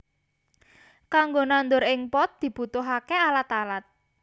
Kanggo nandur ing pot dibutuhaké alat alat